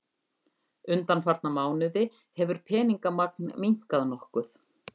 Undanfarna mánuði hefur peningamagn minnkað nokkuð